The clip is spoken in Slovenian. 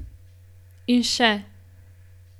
In še ...